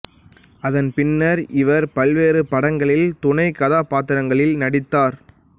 அதன் பின்னர் இவர் பல்வேறு படங்களில் துணைக் கதாபாத்திரங்களில் நடித்தார்